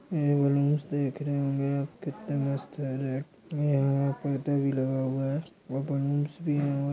ये बलून्स देखने मे कितने मस्त है रेड यहा यहा पर्दा भी लगा हुआ है और बलून्स भी है।